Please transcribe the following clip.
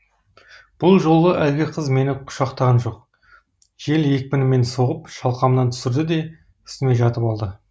бұл жолы әлгі қыз мені құшақтаған жоқ жел екпінімен соғып шалқамнан түсірді де үстіме жатып алды